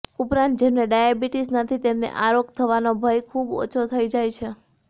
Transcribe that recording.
ઉપરાંત જેમને ડાયાબિટિઝ નથી તેમને આ રોગ થવાનો ભય ખૂબ ઓછો થઈ જાય છે